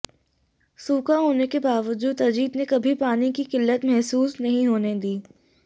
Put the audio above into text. सूखा होने के बावजूद अजित ने कभी पानी की किल्लत महसूस नहीं होने दी